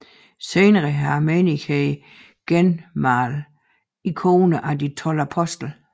Senere har menigheden genmalet ikoner af de 12 apostle